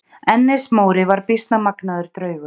Ennis-Móri var býsna magnaður draugur.